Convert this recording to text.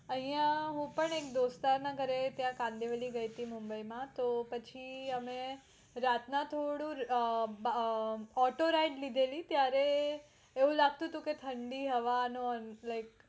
આયા હું પણ એક દોસ્તાર ના ઘરે ત્યાં કાંદિવલી ગયા તી મુંબઈ માં તો પછી અમે રાત ના થોડું અમ અમ autoride ત્યારે લીધેલી તે એવું લાગતું તું કે ઠડી હવા લય